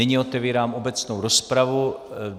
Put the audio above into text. Nyní otevírám obecnou rozpravu.